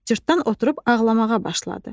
Cırtdan oturub ağlamağa başladı.